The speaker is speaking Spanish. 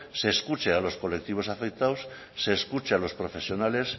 se escuche a los colectivos afectados se escuche a los profesionales